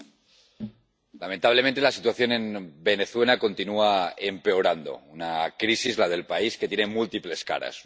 Señor presidente, lamentablemente, la situación en Venezuela continúa empeorando. Una crisis, la del país, que tiene múltiples caras.